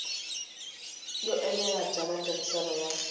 yo enela bya matirhiselo ya